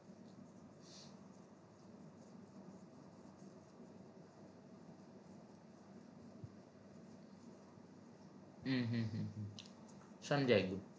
અમ હમ હમ સમજાય ગયું